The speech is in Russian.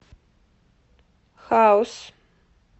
хаус